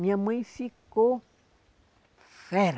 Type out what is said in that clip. Minha mãe ficou fera.